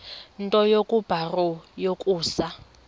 nto kubarrow yokusa